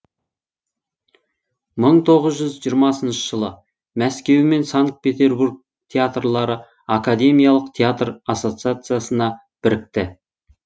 мың тоғыз жүз жиырмасыншы жылы мәскеу мен санкт петербург театрлары академиялық театр ассоциациясына бірікті